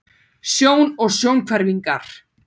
Sjón og sjónhverfingar.